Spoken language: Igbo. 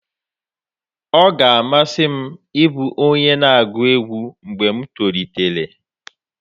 ọ ga-amasị m ịbụ onye na-agụ egwu mgbe m tolitere